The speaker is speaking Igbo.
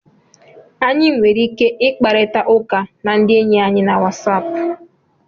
Anyị nwere ike ịkparịta ụka na ndị enyi anyị na Wasapụ